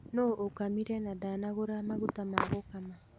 Nũũ uũkamire na ndanagũra maguta ma gũkama?